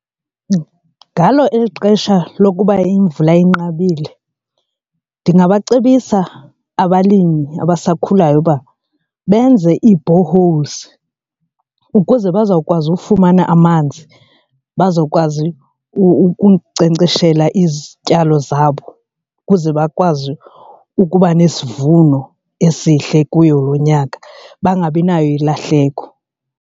Ngalo eli xesha lokuba imvula inqabile ndingabacebisa abalimi abasakhulayo uba benze ii-boreholes ukuze bazokwazi ufumana amanzi, bazokwazi ukunkcenkceshela izityalo zabo ukuze bakwazi ukuba nesivuno esihle kuyo lo nyaka bangabi nayo ilahleko.